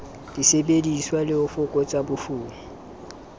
disebediswa le ho fokotsa bofuma